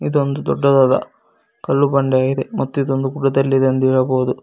ಇದು ಒಂದು ದೊಡ್ಡದಾದ ಕಲ್ಲು ಬಂಡೆ ಇದೆ ಮತ್ತು ಇದು ಒಂದು ಗುಡ್ಡದಲ್ಲಿ ಇದೆ ಎಂದು ಹೇಳಬಹುದು.